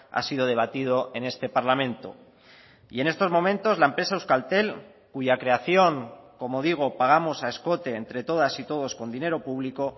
ha sido debatido en este parlamento y en estos momentos la empresa euskaltel cuya creación como digo pagamos a escote entre todas y todos con dinero público